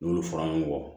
N'olu fɔra ɲɔgɔn kɔ